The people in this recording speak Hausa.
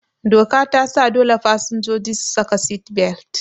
Doka tasa dole fasinjoji su saka sit-belt